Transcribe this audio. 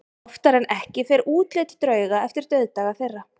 Oftar en ekki fer útlit drauga eftir dauðdaga þeirra.